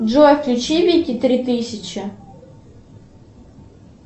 джой включи вики три тысячи